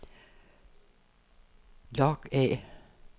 log af